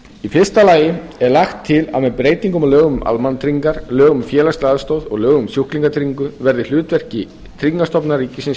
í fyrsta lagi er lagt til að með breytingum á lögum um almannatryggingar lögum um félagslega aðstoð og lögum um sjúklingatryggingu verði hlutverki tryggingastofnunar ríkisins